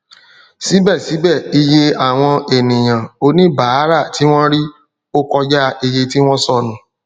sibẹsibẹ iye àwọn ènìyàn oníbàárà ti wọn rí o kọjá iye tí wọn sọnu